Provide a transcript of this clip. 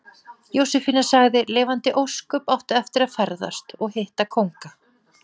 Jósefína sagði: Lifandis ósköp áttu eftir að ferðast. og hitta kónga.